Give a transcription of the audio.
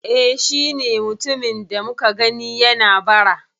E, shi ne mutumin da muka gani yana bara